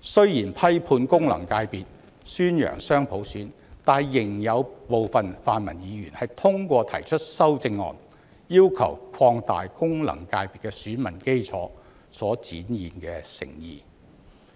雖然批判功能界別，宣揚雙普選，但仍有部分泛民議員通過提出修正案，要求擴大功能界別的選民基礎所展現的誠意。